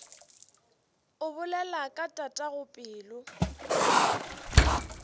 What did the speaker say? o bolela ka tatago pelo